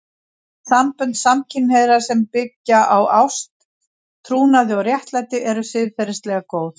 Sambönd samkynhneigðra sem byggja á ást, trúnaði og réttlæti eru siðferðilega góð.